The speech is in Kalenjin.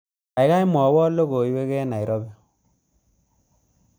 Gaigai mwawon logoywek eng Nairobi